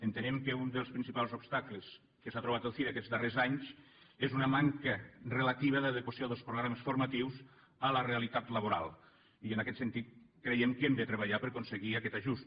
entenem que un dels principals obstacles que s’ha trobat el cire aquests darrers anys és una manca relativa d’adequació dels programes formatius a la realitat laboral i en aquest sentit creiem que hem de treballar per aconseguir aquest ajust